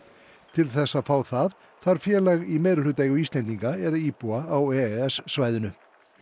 til þess að fá það þarf félag í meirihlutaeigu Íslendinga eða íbúa á e e s svæðinu